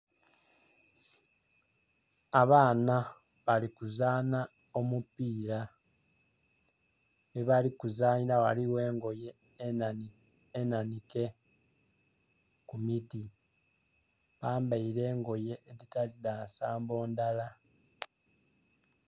Abaana bali kuzanha omupira. Ghebali kuzanhira ghaligho engoye enanhike ku miti. Bambaire engoye edhitali dha nsambo ndhala.